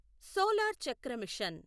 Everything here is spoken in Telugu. సోలార్ చక్ర మిషన్